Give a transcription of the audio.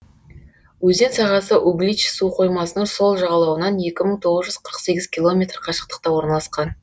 өзен сағасы углич су қоймасының сол жағалауынан екі мың тоғыз жұз қырық сегіз километр қашықтықта орналасқан